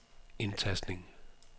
indtastning